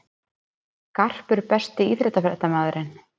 Garpur Besti íþróttafréttamaðurinn?